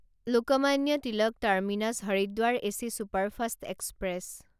Lokmanya Tilak terminus Haridwar AC superfast express